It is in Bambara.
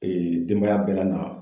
denbaya bɛɛ la na